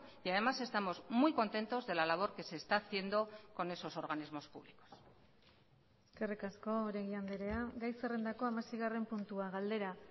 y además estamos muy contentos de la labor que se está haciendo con esos organismos públicos eskerrik asko oregi andrea gai zerrendako hamaseigarren puntua galdera